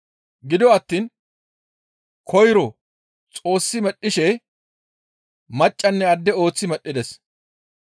Gido attiin koyro Xoossi medhdhishe maccanne adde ooththi medhdhides.